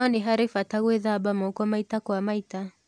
No nĩ harĩ bata gwĩthamba moko maita kwa maita